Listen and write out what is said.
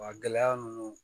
Wa gɛlɛya ninnu